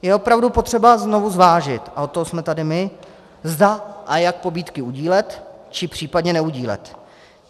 Je opravdu potřeba znovu zvážit, a od toho jsme tady my, zda a jak pobídky udílet, či případně neudílet.